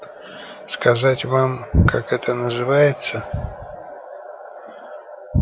сказать вам как это называется